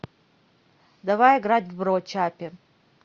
давай играть в бро чаппи